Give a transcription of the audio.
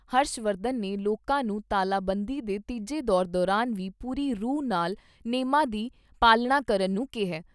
ਹਰਸ਼ ਵਰਧਨ ਨੇ ਲੋਕਾਂ ਨੂੰ ਤਾਲਾਬੰਦੀ ਦੇ ਤੀਜੇ ਦੌਰ ਦੌਰਾਨ ਵੀ ਪੂਰੀ ਰੂਹ ਨਾਲ ਨੇਮਾਂ ਦੀ ਪਾਲਣਾ ਕਰਨ ਨੂੰ ਕਿਹਾ ।